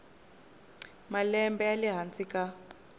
malembe ya le hansi ka